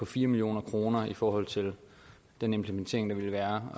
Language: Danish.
fire million kroner i forhold til den implementering der vil være